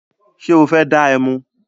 Ṣé o fẹ́ dá ẹmu?